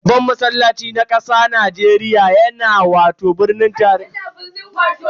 Babban masallaci na kasa Najeriya yana babban birnin tarayya ne wato Abuja.